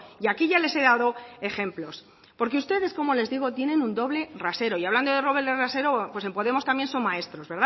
y aquí ya les he dado ejemplos porque ustedes como les digo tienen un doble rasero y hablando de doble rasero pues en podemos también son maestros